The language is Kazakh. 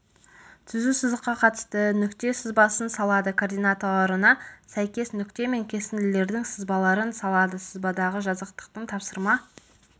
түзу сызыққа қатысты нүкте сызбасын салады координаттарына сәйкес нүкте мен кесінділердің сызбаларын салады сызбадағы жазықтықтың тапсырма